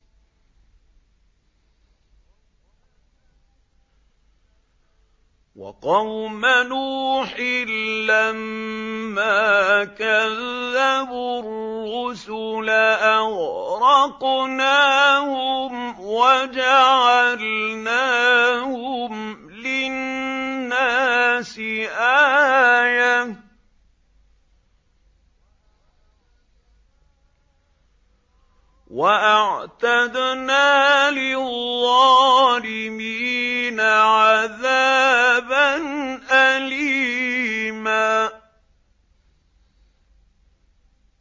وَقَوْمَ نُوحٍ لَّمَّا كَذَّبُوا الرُّسُلَ أَغْرَقْنَاهُمْ وَجَعَلْنَاهُمْ لِلنَّاسِ آيَةً ۖ وَأَعْتَدْنَا لِلظَّالِمِينَ عَذَابًا أَلِيمًا